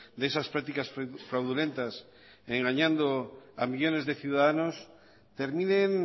de esas prácticas fraudulentas engañando a millónes de ciudadanos terminen